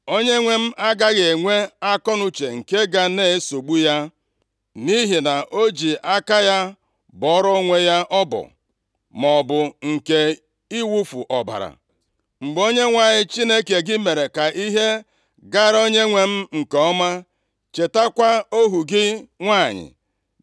onyenwe m agaghị enwe akọnuche nke ga na-esogbu ya nʼihi na o ji aka ya bọọrọ onwe ya ọbọ, maọbụ nke iwufu ọbara. Mgbe Onyenwe anyị Chineke gị mere ka ihe gaara onyenwe m nke ọma, chetakwa ohu gị nwanyị.”